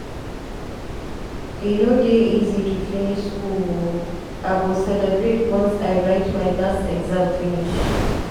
E no dey easy to finish skool o, I go celebrate once I write my last exam finish.